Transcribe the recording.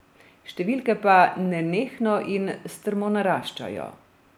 Številke pa nenehno in strmo naraščajo.